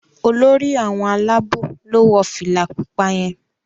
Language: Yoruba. Olórí àwọn Àlàabò lọ wọ fìlà pupa yén